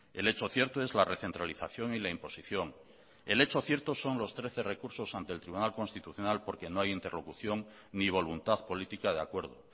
el hecho cierto es la recentralización y la imposición el hecho cierto son los trece recursos ante el tribunal constitucional porque no hay interlocución ni voluntad política de acuerdo